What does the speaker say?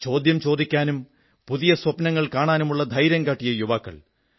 ചോദ്യം ചോദിക്കാനും പുതിയ സ്വപ്നങ്ങൾ കാണാനുമുള്ള ധൈര്യം കാട്ടിയ യുവാക്കൾ